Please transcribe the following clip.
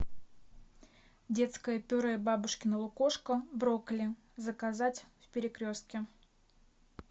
детское пюре бабушкино лукошко брокколи заказать в перекрестке